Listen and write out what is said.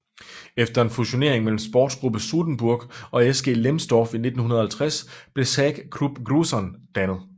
Efter en fusionering mellem Sportgruppe Sudenburg og SG Lemsdorf i 1950 blev SAG Krupp Gruson dannet